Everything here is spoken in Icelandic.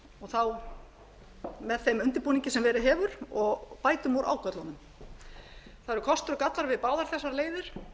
þá með þeim undirbúningi sem verið hefur og bætum úr ágöllunum það eru kostir og gallar við báðar þessa leiðir